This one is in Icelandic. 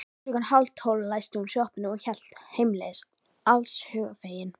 Klukkan hálftólf læsti hún sjoppunni og hélt heimleiðis allshugar fegin.